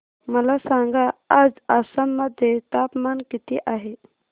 मला सांगा आज आसाम मध्ये तापमान किती आहे